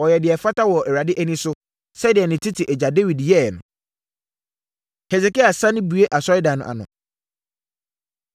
Ɔyɛɛ deɛ ɛfata wɔ Awurade ani so, sɛdeɛ ne tete agya Dawid yɛeɛ no. Hesekia Sane Bue Asɔredan No Ano